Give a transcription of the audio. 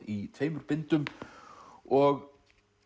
í tveimur bindum og